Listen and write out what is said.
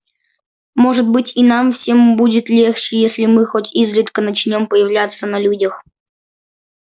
может быть и нам всем будет легче если мы хоть изредка начнём появляться на людях